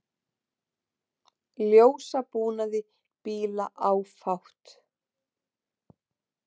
Ljósabúnaði bíla áfátt